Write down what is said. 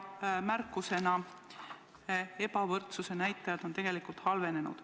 Märkusena: ebavõrdsuse näitajad on tegelikult halvenenud.